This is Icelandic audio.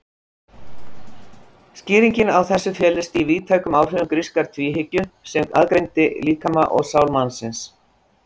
Skýringin á þessu felist í víðtækum áhrifum grískrar tvíhyggju sem aðgreindi líkama og sál mannsins.